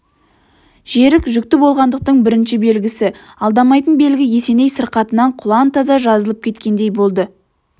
жерік жүкті болғандықтың бірінші белгісі алдамайтын белгі есеней сырқатынан құлан-таза жазылып кеткендей болды